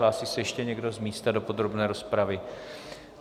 Hlásí se ještě někdo z místa do podrobné rozpravy?